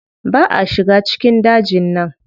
Ba a shiga cikin dajin nan.